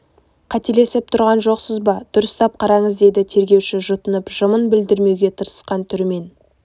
қателесіп тұрған жоқсыз ба дұрыстап қараңыз деді тергеуші жұтынып жымын білдірмеуге тырысқан түрімен